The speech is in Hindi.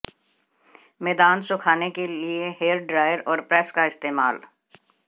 मैदान सुखाने के लिए हेयर ड्रायर और प्रेस का इस्तेमाल